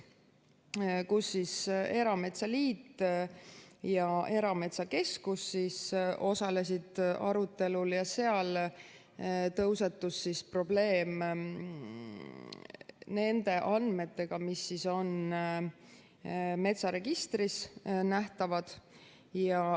Arutelul osalesid Eesti Erametsaliit ja Erametsakeskus ja seal tõusetus nende andmete probleem, mis on metsaregistris nähtavad.